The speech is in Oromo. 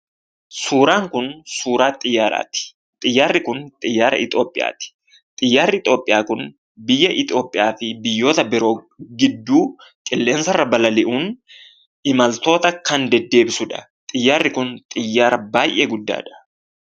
Suuraan kun suuraa xiyyaaraati, xiyyaarri kun xiyyaara Itoopoyaati. Xiyyaarri Itoopoyaa kun biyya Itoopiyaafi biyyoota biroo gidduu qilleensarra balali'uun imaltoota kan deddeebisudha. Xiyyaarri kun xiyyaara baayyee guddaadha.